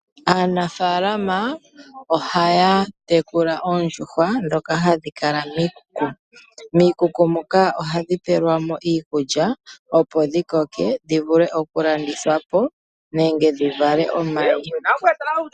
Aanafaalama ohaa tekula oondjuhwa ndhoka hadhi kala miikuku. Ohadhi pewelwamo iikulya opo dhi koke dhi vule oku landithwapo nenge dhi vale omayi.